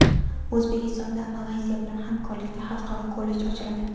O‘zbekistonda Malayziya bilan hamkorlikda xalqaro kollej ochiladi.